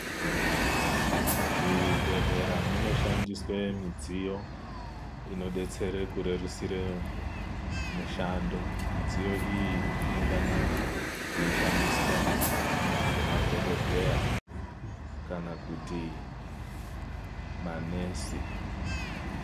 Muzvibhedhlera munoshandiswe midziyo inodetsere kurerusure mushando, midziyo iyi inonga na yeishandiswa ngemadhokodheya kana kuti manesi.